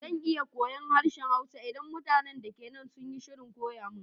Zan iya koyon harshen Hausa idan mutanin da ke anan sun shirya koya mun.